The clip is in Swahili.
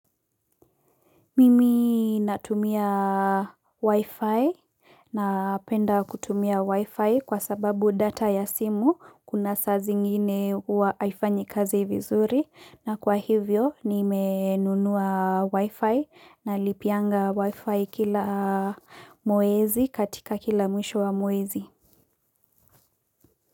Mimi natumia wi-fi napenda kutumia wi-fi kwa sababu data ya simu kuna saa zingine huwa haifanyi kazi vizuri na kwa hivyo nimenunua wi-fi nalipianga wi-fi kila mwezi katika kila mwisho wa mwezi.